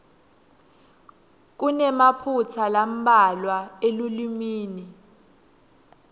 kunemaphutsa lambalwa elulwimi